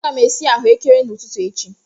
Aga m esi ahụekere n'ụtụtụ echi.